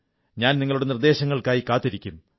ഞാൻ നിങ്ങളുടെ നിർദ്ദേശങ്ങൾക്കായി കാത്തിരിക്കും